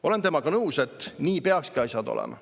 Olen temaga nõus, et nii peaksidki asjad olema.